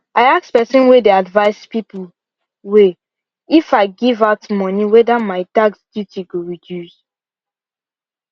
i ask person way dey advice people way if i give out money wether my tax duties go reduce